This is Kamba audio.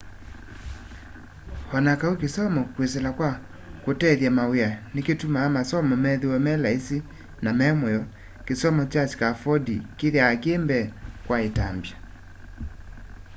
o na kau kisomo kwisila kwa kutethya mawia nikutumaa masomo methĩwe me laisi na memũyo kisomo kya scaffolding kithiawa ki mbee kwa itambya